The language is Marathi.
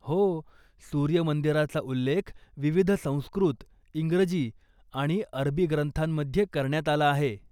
हो, सूर्य मंदिराचा उल्लेख विविध संस्कृत, इंग्रजी आणि अरबी ग्रंथांमध्ये करण्यात आला आहे.